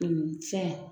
fɛn